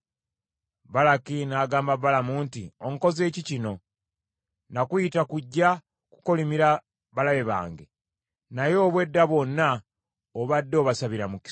Balaki n’agamba Balamu nti, “Onkoze ki kino? Nakuyita kujja kukolimira balabe bange, naye obw’edda bwonna obadde obasabira mukisa!”